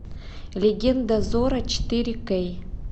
легенда зорро четыре кей